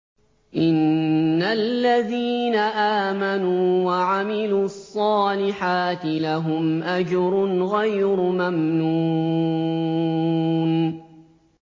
إِنَّ الَّذِينَ آمَنُوا وَعَمِلُوا الصَّالِحَاتِ لَهُمْ أَجْرٌ غَيْرُ مَمْنُونٍ